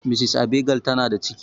Mrs Abigail ta na da ciki